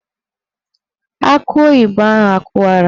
Akị oyibo ahụ akụwara?